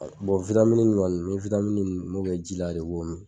ŋɔni n mi n m'o kɛ jila de ko min